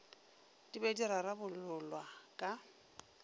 di be di rarabololwa ka